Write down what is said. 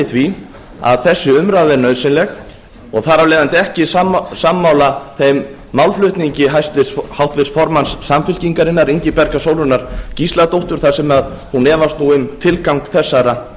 því að þessi umræða er nauðsynleg og þar af leiðandi ekki sammála þeim málflutningi háttvirts formanns samfylkingarinnar ingibjargar sólrúnar gísladóttur þar sem hún efast um tilgang þessara